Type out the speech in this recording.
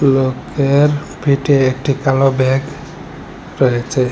লোকের পিঠে একটি কালো ব্যাগ রয়েছে।